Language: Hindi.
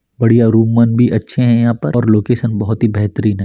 बढ़िया रूम मन भी अच्छे है यहाँ पर और लोकेसन बहुत ही बेहतरीन हैं ।